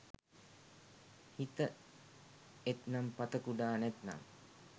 හිත එත්නම් පත කුඩා නැත්නම්